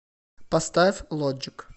поставь лоджик